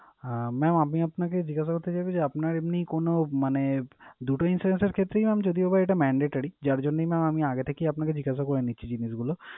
হ্যাঁ mam আমি আপনাকে জিজ্ঞাসা করতে চাইবো যে, আপনার এমনি কোন মানে দুটো এর ক্ষেত্রেই যদিও বা এটা mandatory যার জন্যেই mam আমি আগে থেকেই আপনাকে জিজ্ঞাসা করে নিচ্ছি জিনিসগুলো